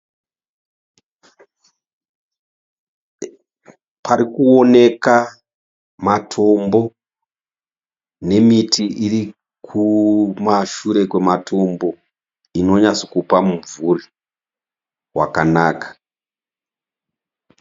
Parikuoneka matombo nemiti iri kumashure kwematombo inonyatsokupa mumvuri wakanaka.